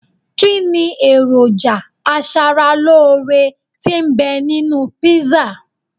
Kínni èròjà aṣaralóore tí ń bẹ nínú kpísà